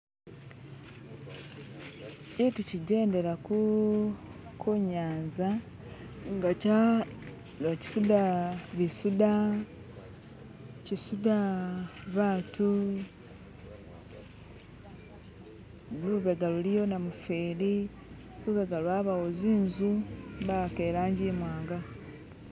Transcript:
Kintu kijendela kunyanza nga kisudha batu, lubega luliyo namufeli lubega lwabayo zinzu bawaka irangi imwanga.